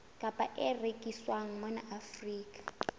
kapa e rekiswang mona afrika